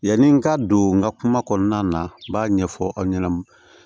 Yanni n ka don n ka kuma kɔnɔna na n b'a ɲɛfɔ aw ɲɛna